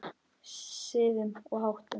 Siðum og háttum.